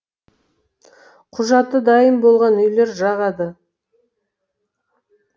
құжаты дайын болған үйлер жағады